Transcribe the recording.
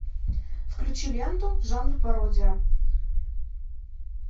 включи ленту жанр пародия